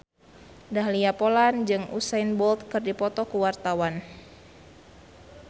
Dahlia Poland jeung Usain Bolt keur dipoto ku wartawan